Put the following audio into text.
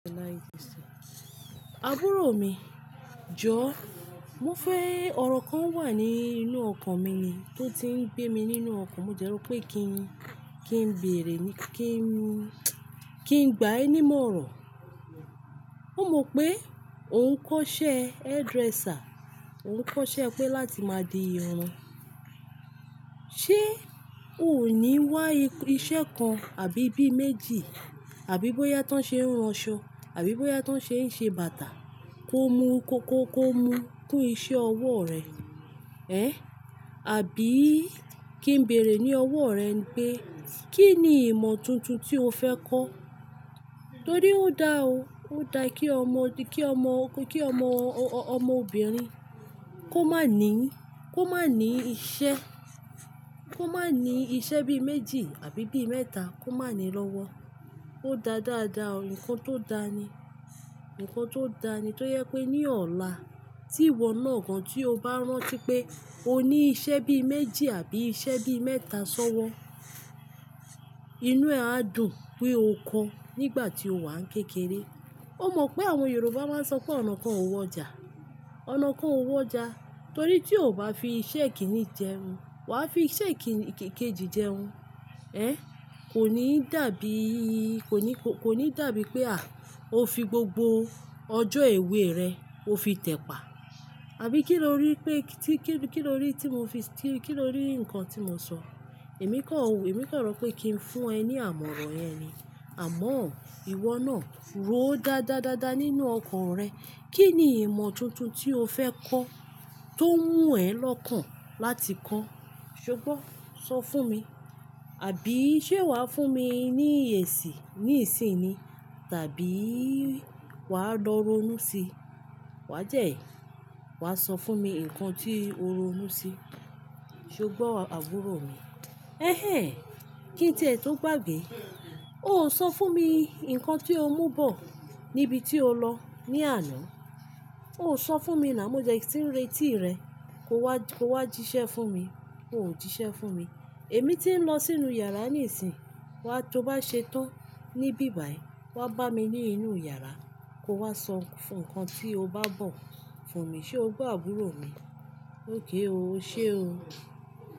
Àbúrò mi, jọ. Mo fẹ́ ọ̀rọ̀ kan wà nínú ọkàn mi ni tó ti ń gbé mi nínú ọkàn. Mo de ro pé kí n, kí n bèrè ni kí n, kí n gbá ẹ ní ìmọ̀ràn. Mo mọ pé òun ń kọ́ṣẹ́ hairdresser. Òun ń kọ́ṣẹ́ pé láti máa di irun. Ṣé o ò ní wá iṣẹ́ kan àbí bí méjì? Àbí bóyá tó ń ṣe ranṣọ, àbí bóyá tó ń ṣe ń ṣe bàtà kó mu kó kó kó mu kún iṣẹ́ ọwọ́ rẹ. Ẹ̀, àbí kí n bèrè ní ọwọ́ rẹ ń pe Kí ni ìmọ̀ tuntun tí o fẹ́ kọ́? Torí ó dá o. Ó da kí ọmọ, kí ọmọ, kí ọmọ, ọmọ obìnrin kó má ní, kó má ní iṣẹ́, kó má ní iṣẹ́ bí méjì àbí bí mẹ́ta kó má ní lọ́wọ́. Ó dá dáadáa o. Ǹkan tó da ni. Ǹkan tó da ni. To je pé ní ọ̀la tí ìwọ náà gan-an tí o bá rántí pé o ní iṣẹ́ bí méjì àbí iṣẹ́ bí mẹ́ta sọ́wọ́, inú ẹ á dùn pé o kọ́ nígbà tí o wà ń kékeré. O mọ̀ pé àwọn Yorùbá máa ń sọ pé "ọnà kan ò wọjà". Ọ̀nà kan ò wọjà torí tí o ò bá fi iṣẹ́ kìíní jẹun, wà á fi iṣẹ́ kì-kèjì jẹun. Ẹ̀, kò ní dàbí, kò ní, kò ní dàbí pé à o fi gbogbo ọjọ́ èwe rẹ o fi tẹ̀pa. Àbí kí lórí pé tí kí, kí lórí tí mo fi, kí lórí ǹkan tí mo sọ? Èmi kọ̀ o, èmi kọ̀ rò pé kí n fún ẹ ní àmọ̀ràn yẹn ni. Àmọ́ ìwọ náà rò ó dáadáadáadáa nínú ọkàn rẹ. Kí ni ìmọ̀ tuntun tí o fẹ́ kọ́ tó wú ẹ lọ́kàn láti kọ́? Ṣé o gbọ́? Sọ fún mi. Àbí ṣé wà á fún mi ní ẹ̀sì ní ìsìn ni tàbí wà á lọ ronú sí i? Wà jẹ́ẹ̀yìí, wà á sọ fún mi ǹkan tí o ronú sí. Ṣe o gbọ́ àbúrò mi? Ẹ̀hẹ̀n! Kí n tẹ́ ẹ tó gbagbe. O ò sọ fún mi ǹkan tí o mú bọ̀ níbi tí o lọ ní àná. O ò sọ fún mi ná. Mo jẹ́ kí n retí rẹ kó wá, kó wá jíṣẹ́ fún mi. O ò jíṣẹ́ fún mi. Èmi tí ń lọ sínú yàrá ní ìsìn. Wà á, tó bá ṣe tán ní bíbà ẹ, wà á bá mi ní inú yàrá. Kó wá sọ ǹkan tí o bá bọ̀ fún mi. Ṣé o gbọ́ àbúrò mi? Óké o. Ó ṣé o.